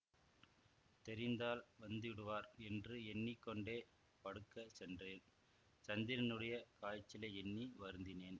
தெரிந்தால் வந்துவிடுவார் என்று எண்ணி கொண்டே படுக்கச் சென்றேன் சந்திரனுடைய காய்ச்சலை எண்ணி வருந்தினேன்